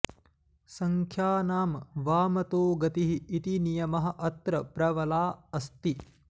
संख्यानां वामतो गतिः इति नियमः अत्र प्रबला अस्ति